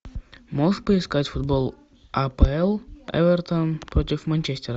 можешь поискать футбол апл эвертон против манчестера